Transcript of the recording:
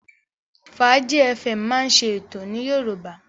Fàájí fm máa ń ṣe ètò ní Yorùbá.